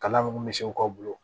Kalan min misiw ka bolo